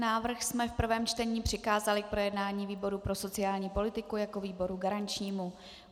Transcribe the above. Návrh jsme v prvém čtení přikázali k projednání výboru pro sociální politiku jako výboru garančnímu.